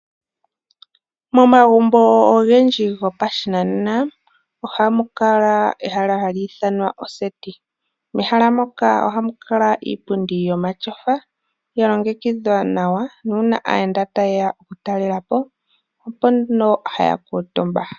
Momagumbo ogendji gopashinanena ohamukala ehala hali ithanwa oseti. Mehala muku ohamukala iipundi yomatyofa ya longekidhwa nawa nuuna aayenda ta yeya okutalelapo opo nduno haya kuutumba